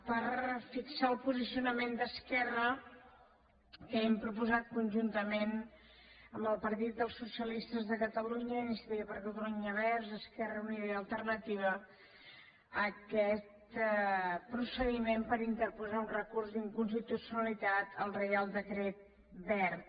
per fixar el posicionament d’esquerra que hem proposat conjuntament amb el partit dels socialistes de catalunya i iniciativa per catalunya verds esquerra unida i alternativa aquest procediment per interposar un recurs d’inconstitucionalitat al reial decret wert